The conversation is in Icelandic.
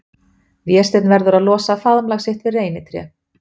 Vésteinn verður að losa faðmlag sitt við reynitré.